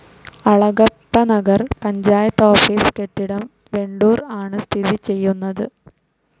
Alagappanagar panchayat office കെട്ടിടം വെണ്ടൂർ ആണ് സ്ഥിതി ചെയ്യുന്നത്.